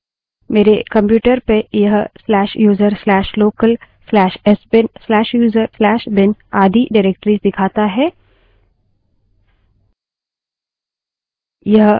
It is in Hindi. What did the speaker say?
मेरे computer पर यह/user/local/sbin/user/bin आदि निर्देशिकाएँ डाइरेक्टरिस दिखाता है